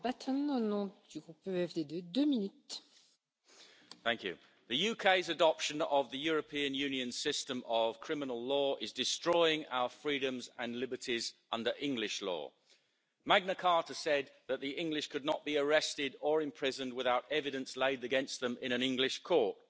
Madam President, the UK's adoption of the European Union system of criminal law is destroying our freedoms and liberties under English law. Magna Carta said that the English could not be arrested or imprisoned without evidence laid against them in an English court.